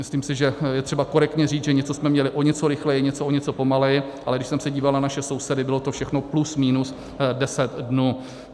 Myslím si, že je třeba korektně říct, že něco jsme měli o něco rychleji, něco o něco pomaleji, ale když jsem se díval na naše sousedy, bylo to všechno plus minus 10 dnů.